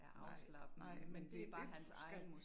Nej, nej men det det du skal